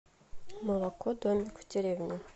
молоко домик в деревне